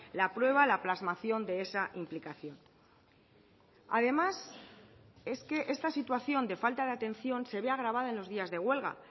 la prueba la plasmación de esa implicación además es que esta situación de falta de atención se ve agravada en los días de huelga